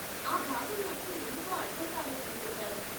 ఆ భాగం నాకు ఎందుకో అర్ధంకాలేదనుకుంటాను.